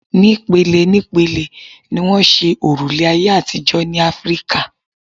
Ní pele ní pele ni wọ́n ṣe òrùlé ayé àtijọ́ ní Áfíkà.